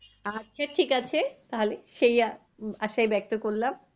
আচ্ছা ঠিক আছে তাহলে সেই আশা আশায় ব্যাক্ত করলাম।